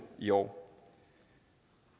i år